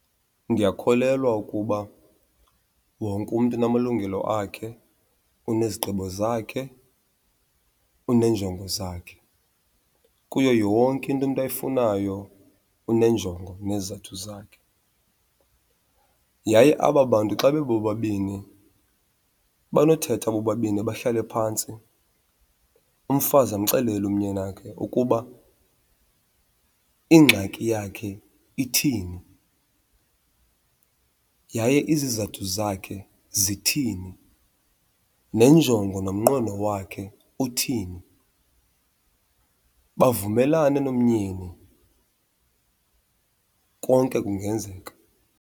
Ndiyakholelwa ukuba wonke umntu unamalungelo akhe, unezigqibo zakhe, uneenjongo zakhe. Kuyo yonke into umntu ayifunayo uneenjongo nezizathu zakhe. Yaye aba bantu xa bebobabini banothetha bobabini bahlale phantsi umfazi amxelele umyeni wakhe ukuba ingxaki yakhe ithini, yaye izizathu zakhe zithini, nenjongo nomnqweno wakhe uthini. Bavumelane nomyeni konke kungenzeka.